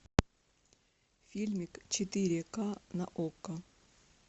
фильмик четыре ка на окко